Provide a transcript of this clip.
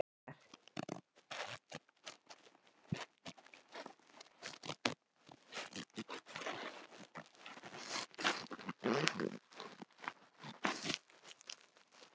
Er þér bara lífsins ómögulegt að vilja að vinna leik til tilbreytingar!?